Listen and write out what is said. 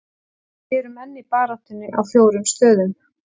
Við erum enn í baráttunni á fjórum stöðum.